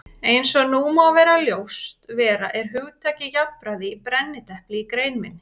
Eins og nú má ljóst vera er hugtakið jafnræði í brennidepli í grein minni.